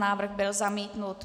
Návrh byl zamítnut.